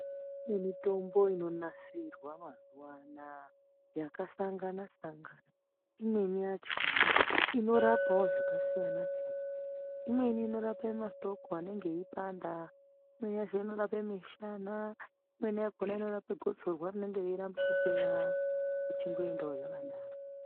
Kune mitombo inonasirwa mazunaya yakasangana sangana imweni yachona inorapawo zvakasiyana siyana imweni inorape matoko eanenge eipanda imweni inorape mushana imweni inorapa gotsorwa rinenge reirambe kupera zvechindoendawo zvakadaro